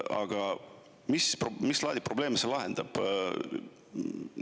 Aga mis laadi probleeme see lahendab?